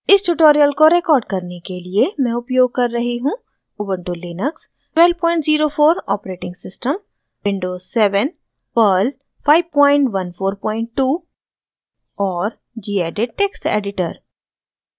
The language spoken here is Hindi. इस tutorial को record करने के लिए मैं उपयोग कर रही हूँ: